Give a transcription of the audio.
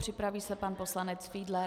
Připraví se pan poslanec Fiedler.